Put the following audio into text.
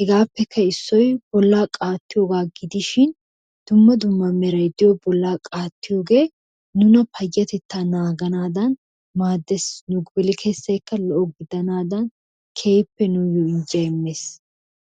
hegaappekka issoy bollaa qaattiyogaa gidishin dumma dumma meray diyo bollaa qaattiyogee nu payatettaa naaganadan maadees. Nu gelikkessaykka lo'o gidanaadan keehippe nuuyo injjiya immees.